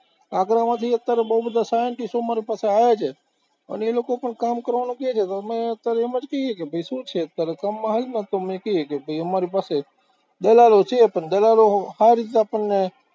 આગ્રામાંથી અત્યારે બોવ બધા scientist ઓ મારી પાસે આવે છે, અને એ લોકો પણ કામ કરવાનું કહે છે, તો અમે અત્યારે એમ જ કહીયે છીએ કે ભાઈ, શું છે અત્યારે સામા આવે તો કહીએ કે અમારી પાસે દલાલો છે પણ દલાલો આ રીતના આપણને